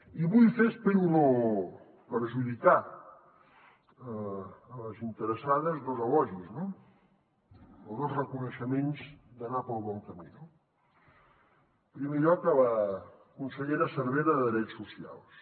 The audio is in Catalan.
i vull fer espero no perjudicar les interessades dos elogis no o dos reconeixements d’anar pel bon camí no en primer lloc a la consellera cervera de drets socials